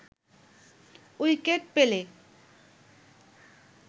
wicket পেলে